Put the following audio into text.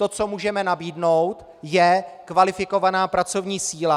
To, co můžeme nabídnout, je kvalifikovaná pracovní síla.